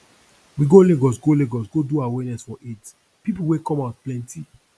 we go lagos go lagos go do awareness for aids people wey come out plenty